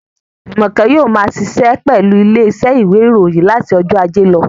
Jùmọ̀kẹ́ yóò ma ṣiṣẹ́ pẹ̀lú ilé iṣẹ́ ìwé ìròyìn láti ọjọ́ ajé lọ